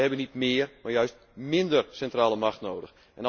Wij hebben niet méér, maar juist minder centrale macht nodig.